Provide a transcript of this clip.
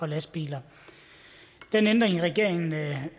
lastbiler den ændring regeringen